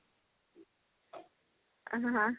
ଅଁ ହଁ